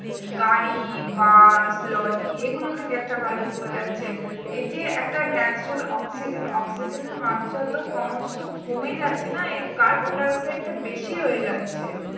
গাড়ি bus lorry এগুলো থেকে একটা কালো ধোয়া যাচ্ছে এইযে একটা natural oxygen oxygen এর মাত্রা তো ক্রমশ কমেই যাচ্ছে না এই carbon dioxide টা বেশি হয়ে যাচ্ছে